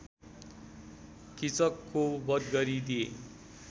कीचकको वध गरिदिए